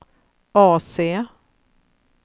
AC